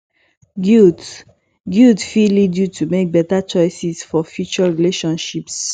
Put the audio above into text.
guilt guilt fit lead yu to mek beta choices for future relationships